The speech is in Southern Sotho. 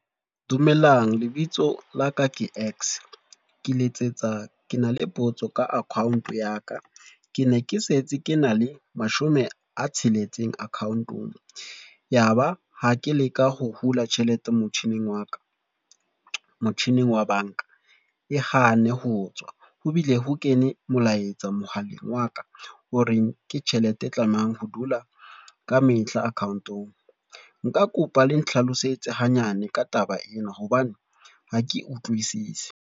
Dumelang lebitso la ka ke X, ke letsetsa ke na le potso ka account ya ka. Ke ne ke setse ke na le mashome a tsheletseng account-ong, ya ba ha ke leka ho hula tjhelete motjhining wa banka e hana ho tswa. Ho bile ho kene molaetsa mohaleng wa ka o reng ke tjhelete e tlamang ho dula ka mehla account-ong. Nka kopa le ntlhalosetse ha nyane ka taba ena hobane ha ke utlwisise.